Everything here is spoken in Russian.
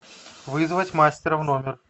вызвать мастера в номер